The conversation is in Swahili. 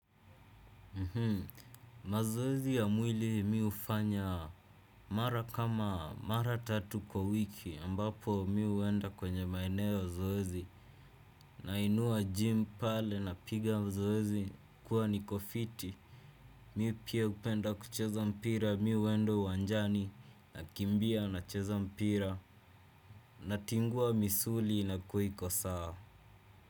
Mazoezi ya mwili mimi hufanya mara kama mara tatu kwa wiki ambapo mimi huenda kwenye maeneo ya zoezi. Nainua gym pale napiga zoezi nakuwa niko fiti. Mimi pia hupenda kucheza mpira mimi huenda uwanjani nakimbia nacheza mpira natingua misuli inakua iko sawa.